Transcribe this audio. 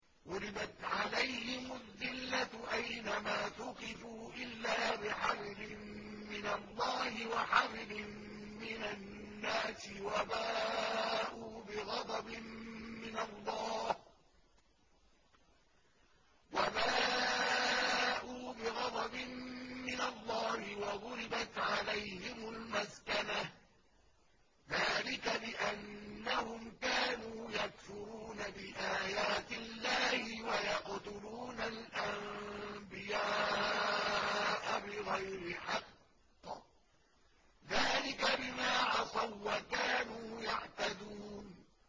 ضُرِبَتْ عَلَيْهِمُ الذِّلَّةُ أَيْنَ مَا ثُقِفُوا إِلَّا بِحَبْلٍ مِّنَ اللَّهِ وَحَبْلٍ مِّنَ النَّاسِ وَبَاءُوا بِغَضَبٍ مِّنَ اللَّهِ وَضُرِبَتْ عَلَيْهِمُ الْمَسْكَنَةُ ۚ ذَٰلِكَ بِأَنَّهُمْ كَانُوا يَكْفُرُونَ بِآيَاتِ اللَّهِ وَيَقْتُلُونَ الْأَنبِيَاءَ بِغَيْرِ حَقٍّ ۚ ذَٰلِكَ بِمَا عَصَوا وَّكَانُوا يَعْتَدُونَ